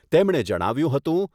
તેમણે જણાવ્યુંં હતું